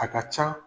A ka ca